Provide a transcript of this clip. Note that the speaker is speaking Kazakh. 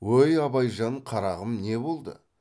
өй абайжан қарағым не болды